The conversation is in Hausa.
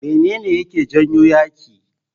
Mene ne yake janyo yaƙi?